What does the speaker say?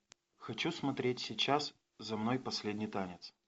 хочу смотреть сейчас за мной последний танец